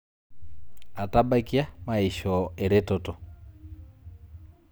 Atabaikia maishoo ereteto